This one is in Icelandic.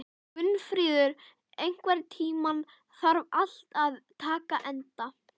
Gunnfríður, einhvern tímann þarf allt að taka enda.